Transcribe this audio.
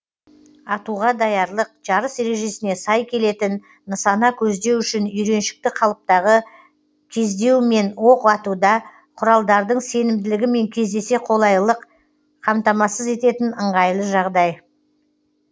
атуға даярлық жарыс ережесіне сай келетін нысана көздеу үшін үйреншікті қалыптағы кездеу мен оқ атуда құралдардың сенімділігімен кездесе қолайлылық қамтамасыз ететін ыңғайлы жағдай